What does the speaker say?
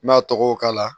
N'a tɔgɔ k'a la